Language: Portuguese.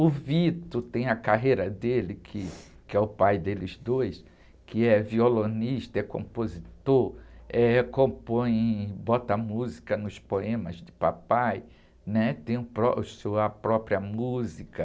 O Vito tem a carreira dele, que, que é o pai deles dois, que é violonista, é compositor, eh, compõe, bota música nos poemas de papai, né? Tem o pró, sua própria música.